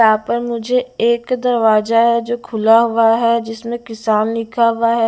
यहाँ पर मुझे एक दरवाजा है जो खुला हुआ है जिसमें किसान लिखा हुआ है।